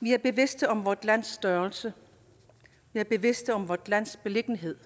vi er bevidste om vort lands størrelse vi er bevidste om vort lands beliggenhed